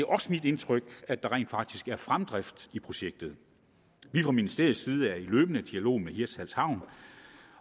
også mit indtryk at der rent faktisk er fremdrift i projektet fra ministeriets side er vi i løbende dialog med hirtshals havn